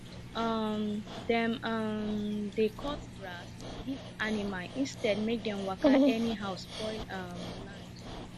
um dem um dey cut grass give animal instead make dem waka anyhow spoil um land